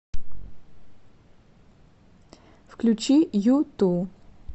включи юту